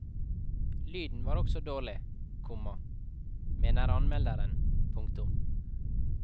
Lyden var også dårlig, komma mener anmelderen. punktum